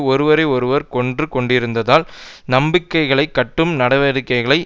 ஒருவரை ஒருவர் கொன்று கொண்டிருந்தால் நம்பிக்கையைக் கட்டும் நடவடிக்கைகள்